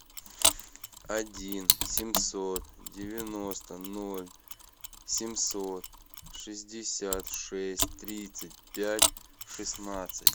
один семьсот девяносто ноль семьсот шестьдесят шесть тридцать пять шестнадцать